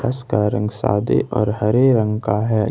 उसका रंग सादे और हरे रंग का है।